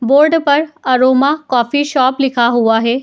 Board पर aroma coffee shop लिखा हुआ हे ।